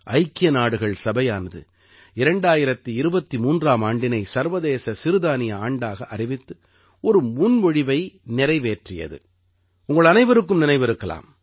ஐக்கிய நாடுகள் சபையானது 2023ஆம் ஆண்டினை சர்வதேச சிறுதானிய ஆண்டாக அறிவித்து ஒரு முன்மொழிவை நிறைவேற்றியது உங்கள் அனைவருக்கும் நினைவிருக்கலாம்